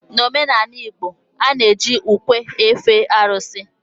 n'omenala igbo, a na-eji ukwe efe arụsị